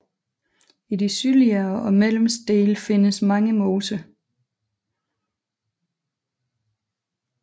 I de sydliggere og mellemste dele findes mange moser